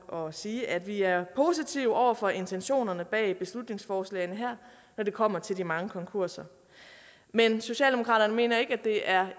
og sige at vi er positive over for intentionerne bag beslutningsforslagene her når det kommer til de mange konkurser men socialdemokratiet mener ikke at det er